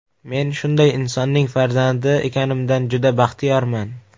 Men shunday insonning farzandi ekanimdan juda baxtiyorman.